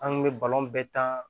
An kun bɛ bɛɛ ta